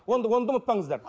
оны да оны да ұмытпаңыздар